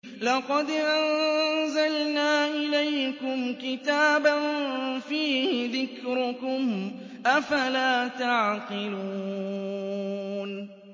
لَقَدْ أَنزَلْنَا إِلَيْكُمْ كِتَابًا فِيهِ ذِكْرُكُمْ ۖ أَفَلَا تَعْقِلُونَ